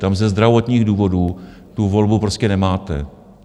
Tam ze zdravotních důvodu tu volbu prostě nemáte.